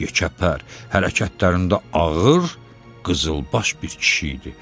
Yekəpər hərəkətlərində ağır qızılbaş bir kişi idi.